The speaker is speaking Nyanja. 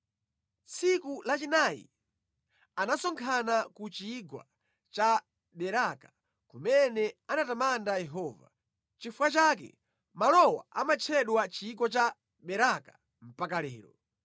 Tsiku lachinayi anasonkhana ku chigwa cha Beraka kumene anatamanda Yehova. Nʼchifukwa chake malowa amatchedwa chigwa cha Beraka mpaka lero.